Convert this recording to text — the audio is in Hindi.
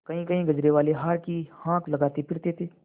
कहींकहीं गजरेवाले हार की हाँक लगाते फिरते थे